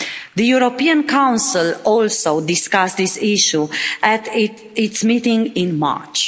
The European Council also discussed this issue at its meeting in March.